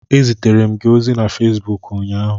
Ezitere m gị ozi na Fesbuk ụnyaahụ